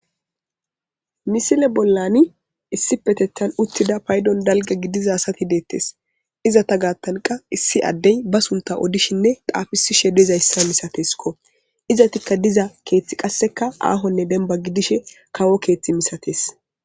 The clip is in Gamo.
Misile bolani issipetetan uthida paydon dalga gidiza asati de'etes izeta gaathanka issi adde ba suntha odishine xaafisishe dizaysa misatesko izetika diza keethi kaseka aahone demba gidishin kawo keethi misates.